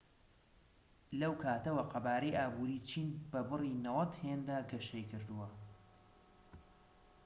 لەو کاتەوە، قەبارەی ئابووری چین بە بڕی 90 هێندە گەشەی کردووە‎